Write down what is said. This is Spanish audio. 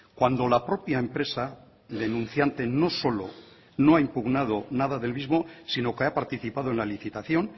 cuando la propia empresa denunciante no solo no ha impugnado nada del mismo sino que ha participado en la licitación